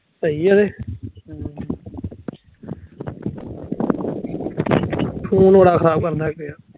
ਸਹੀ ਐਵੇਂ,